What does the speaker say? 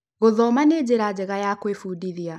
Gũthoma nĩ njira njega ya kũibundithĩa